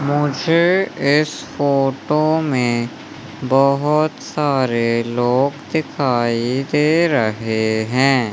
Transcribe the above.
मुझे इस फोटो में बहोत सारे लोग दिखाई दे रहे हैं।